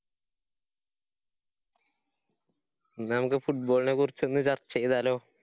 എന്നാ നമ്മക്ക് football നെ കുറിച്ചൊന്ന് ചര്‍ച്ച ചെയ്താലോ?